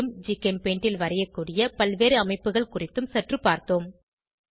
மேலும் ஜிகெம்பெயிண்டில் வரையக்கூடிய பல்வேறு அமைப்புகள் குறித்தும் சற்று பார்த்தோம்